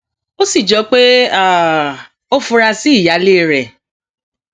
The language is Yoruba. ó sì jọ pé ó fura sí ìyáálé rẹ